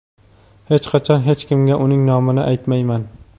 hech qachon hech kimga uning nomini aytmayman.